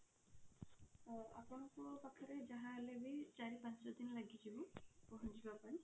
ହଁ ଆପଣଙ୍କ ପାଖରେ ଯାହା ହେଲେ ବି ଚାରି ପାଞ୍ଚ ଦିନ ଲାଗିଯିବ ପହଞ୍ଚିବା ପାଇଁ।